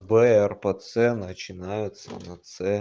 прпц начинаются на цэ